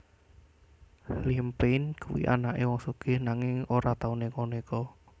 Liam Payne kuwi anake wong sugih nanging ora tau neko neko